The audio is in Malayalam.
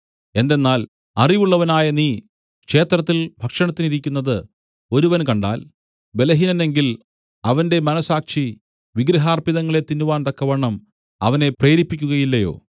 എന്തെന്നാൽ അറിവുള്ളവനായ നീ ക്ഷേത്രത്തിൽ ഭക്ഷണത്തിനിരിക്കുന്നത് ഒരുവൻ കണ്ടാൽ ബലഹീനനെങ്കിൽ അവന്റെ മനസ്സാക്ഷി വിഗ്രഹാർപ്പിതങ്ങളെ തിന്നുവാൻ തക്കവണ്ണം അവനെ പ്രേരിപ്പിക്കുകയില്ലയോ